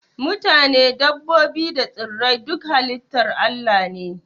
Matane, dabbobi da tsirrai duka halitar Allah ne